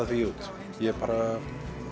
því út ég bara